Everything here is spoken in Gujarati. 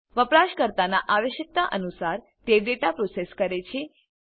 વપરાશકર્તાનાં આવશ્યકતા અનુસાર તે ડેટા પ્રોસેસ કરે છે